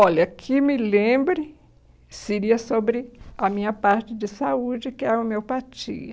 Olha, que me lembre, seria sobre a minha parte de saúde, que é a homeopatia.